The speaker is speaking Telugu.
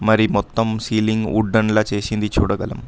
మరి మొత్తం సీలింగ్ ఉడ్డన్ లా చేసింది చూడగళం.